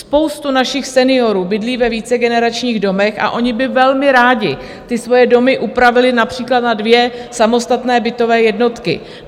Spousta našich seniorů bydlí ve vícegeneračních domech a oni by velmi rádi ty svoje domy upravili například na dvě samostatné bytové jednotky.